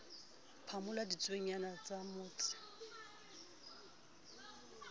phamola ditsuonyana a sa mmotse